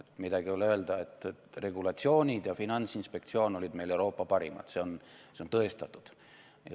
Midagi ei ole öelda, regulatsioonid ja Finantsinspektsioon olid meil Euroopa parimad, see on tõestatud.